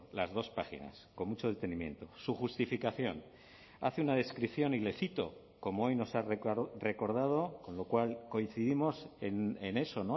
las dos páginas con mucho detenimiento su justificación hace una descripción y le cito como hoy nos ha recordado con lo cual coincidimos en eso